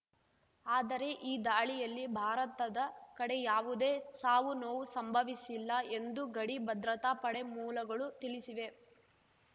ಆದರೆ ಈ ದಾಳಿಯಲ್ಲಿ ಭಾರತದ ಕಡೆ ಯಾವುದೇ ಸಾವು ನೋವು ಸಂಭವಿಸಿಲ್ಲ ಎಂದು ಗಡಿ ಭದ್ರತಾ ಪಡೆ ಮೂಲಗಳು ತಿಳಿಸಿವೆ